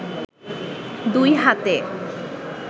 দুই হাতে